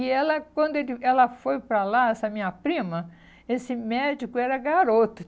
E ela, quando ele ela foi para lá, essa minha prima, esse médico era garoto.